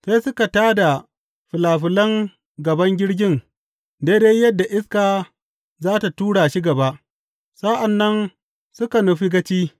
Sai suka tā da filafilan gaban jirgin daidai yadda iska za tă tura shi gaba, sa’an nan suka nufi gaci.